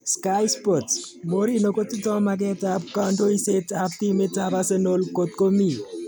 (Sky Sports) Mourinho kotindo maket ab kandoiset ab timit ab Arsenal kotkomi.